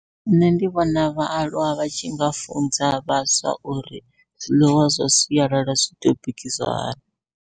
Nṋe ndi vhona vhaaluwa vha tshi nga funza vhaswa, uri zwiḽiwa zwa sialala zwi tea u bikiswa hani.